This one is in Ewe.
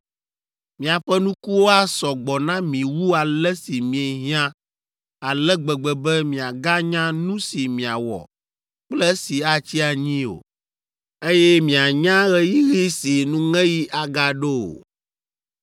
Miaƒe nukuwo asɔ gbɔ na mi wu ale si miehiã ale gbegbe be miaganya nu si miawɔ kple esi atsi anyi o, eye mianya ɣeyiɣi si nuŋeɣi agaɖo o!